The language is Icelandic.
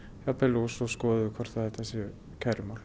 og svo skoðum við hvort þetta séu kærumál